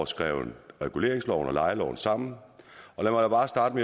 skrevet reguleringsloven og lejeloven sammen